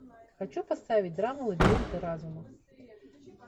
хочу поставить драму лабиринты разума